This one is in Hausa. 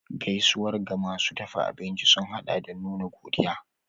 Gaisuwar ga masu dafa abinci sun haɗa da nuna godiya.